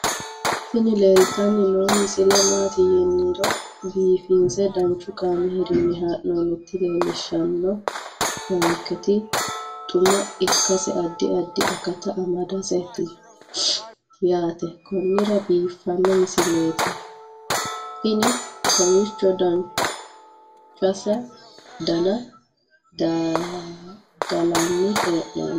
tini leeltanni noo misile maaati yiniro biifinse danchu kaamerinni haa'noonnita leellishshanni nonketi xuma ikkase addi addi akata amadaseeti yaate konnira biiffanno misileeti tini kowiicho duuchsa dana dadallanni hee'nooni